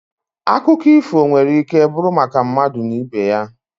Akụkọ ifo nwere ike bụrụ maka mmadụ na ibe ya.